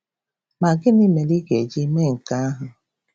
Ma gịnị mere ị ga-eji mee nke ahụ?